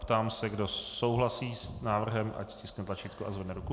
Ptám se, kdo souhlasí s návrhem, ať stiskne tlačítko a zvedne ruku.